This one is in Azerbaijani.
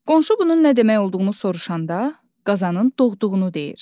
Qonşu bunun nə demək olduğunu soruşanda qazanın doğduğunu deyir.